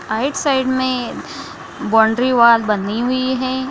Right side में boundary wall बनी हुई है।